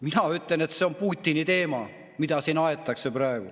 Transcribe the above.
Mina ütlen, et see on Putini teema, mida siin praegu aetakse.